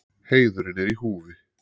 Heiðurinn er í húfi.